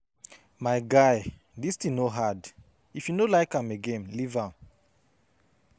My guy dis thing no hard if you no like am again leave am